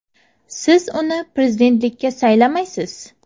Siz uni prezidentlikka saylamaysiz.